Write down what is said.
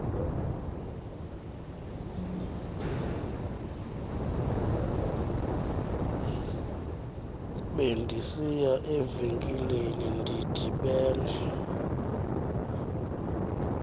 bendisiya evenkileni ndidibene